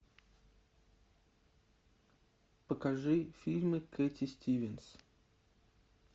покажи фильмы кэти стивенс